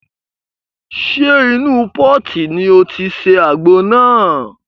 Ṣe inú pọ́ọ̀tì ni o ti ṣe àgbo náà?